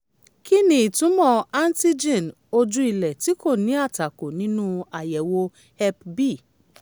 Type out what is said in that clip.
kí ni ìtumọ̀ antigen ojú-ilẹ̀ tí kò ní àtakò nínú àyẹ̀wò hep b